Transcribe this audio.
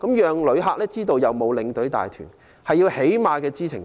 讓旅客知道有沒有領隊帶團，是最低限度的知情權。